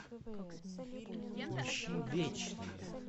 поищи вечные